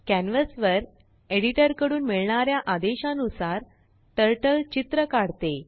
canvas वरएडिटरकडून मिळणाऱ्या आदेशानुसारTurtleचित्र काढते